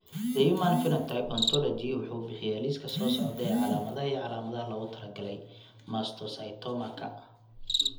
The Human Phenotype Ontology wuxuu bixiyaa liiska soo socda ee calaamadaha iyo calaamadaha loogu talagalay mastocytoma-ka.